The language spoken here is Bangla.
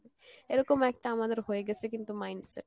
এরকম একটা আমাদের হয়ে গেসে কিন্তু mind set